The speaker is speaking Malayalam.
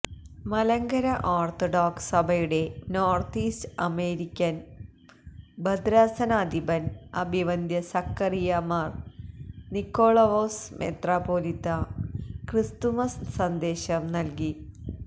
മലങ്കര ഓര്ത്തഡോക്സ് സഭയുടെ നോര്ത്ത് ഈസ്റ്റ് അമേരിക്കന് ഭദ്രാസനാധിപന് അഭിവന്ദ്യ സഖറിയാ മാര് നിക്കോളവോസ് മെത്രാപ്പോലീത്താ ക്രിസ്തുമസ് സന്ദേശം നല്കി